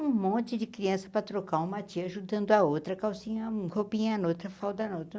Um monte de criança para trocar uma tia ajudando a outra, calcinha num, roupinha na outra, falda na outra.